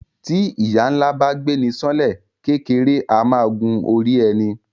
Tí ìyà ńlá bá gbéni san lẹ kékeré a máa gun orí ẹni